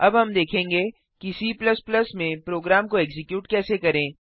अब हम देखेंगे कि C में प्रोग्राम को एक्जीक्यूट कैसे करें